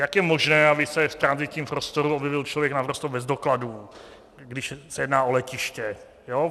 Jak je možné, aby se v tranzitním prostoru objevil člověk naprosto bez dokladů, když se jedná o letiště?